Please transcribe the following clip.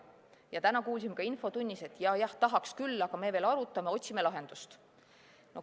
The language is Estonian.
Ja täna kuulsime ka infotunnis, et ja-jah, tahaks küll, aga me veel arutame, otsime lahendust.